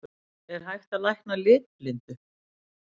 Er hægt að lækna litblindu?